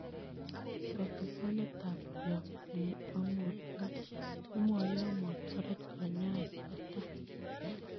Kotikonetab koyop png'omotiot kemwoe yon motoret kanyaet netai.